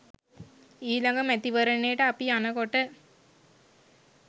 ඊළඟ මැතිවරණයට අපි යනකොට